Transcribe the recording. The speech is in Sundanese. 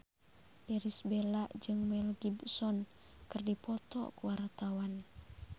Irish Bella jeung Mel Gibson keur dipoto ku wartawan